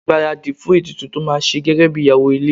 Gbaradi fún ètùtù tó máa ṣe gẹ́gẹ́bí ìyàwó ilé.